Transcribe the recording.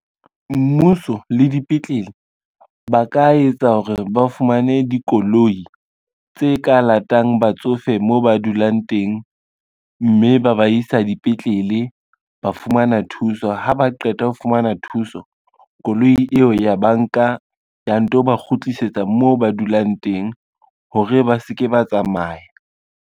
Mmuso le dipetlele, ba ka etsa hore ba fumane dikoloi tse ka latang batsofe moo ba dulang teng, mme ba ba isa dipetlele ba fumana thuso, ha ba qeta ho fumana thuso koloi eo ya banka ya nto ba kgutlisetsa moo ba dulang teng hore ba se ke ba tsamaya.